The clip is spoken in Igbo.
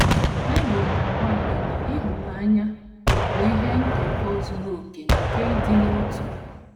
Bible na - agwa anyị na “ ịhụnanya ” bụ “ ihe nkekọ zuru okè nke ịdị n’otu. ”